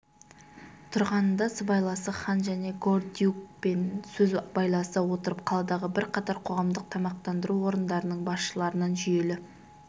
тұрғанында сыбайласы хан және гордиюкпен сөз байласа отырып қаладағы бірқатар қоғамдық тамақтандыру орындарының басшыларынан жүйелі